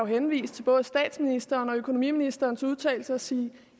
henvise til både statsministerens og økonomiministerens udtalelse og sige